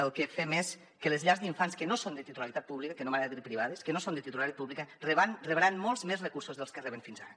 el que fem és que les llars d’infants que no són de titularitat pública que no m’agrada dir privades que no són de titularitat pública rebran molts més recursos dels que reben fins ara